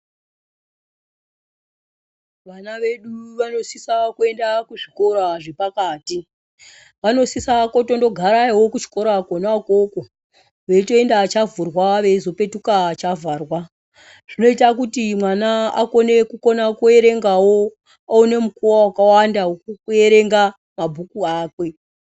Vana vedu vanosisa kuenda kuzvikora zvepati vanosisa kotondogarayowo kuzchikora kona ukoko veitoenda chavhurwa veizopetuka chavharwa zvinoita kuti mwana akone kukona kuerengawo aone mukuwo wakawanda wekuerenga mabhuku akwe.